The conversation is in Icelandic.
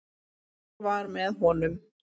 Hann var með honum!